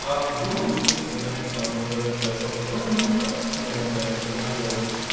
а в другой инструкции написано про трп что желательно не форматировать раздел